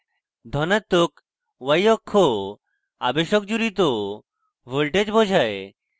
ধনাত্মক y অক্ষ আবেশক জুড়িত voltage বোঝায়